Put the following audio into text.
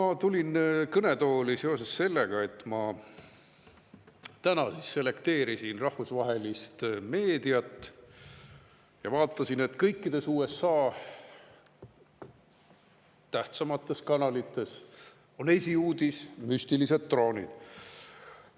Ma tulin kõnetooli seoses sellega, et ma täna selekteerisin rahvusvahelist meediat ja vaatasin, et kõikides USA tähtsamates kanalites on esiuudiseks müstilised droonid.